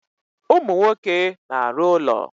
Ụmụ nwoke na-arụ ụlọ.